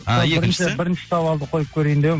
ыыы екіншісі бірінші сауалды қойып көрейін деп едім